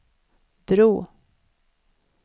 bro